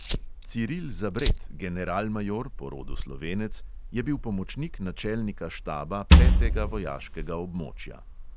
Ciril zabret, generalmajor, po rodu slovenec, je bil pomočnik načelnika štaba petega vojaškega območja.